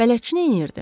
Bələdçi nəyirdi?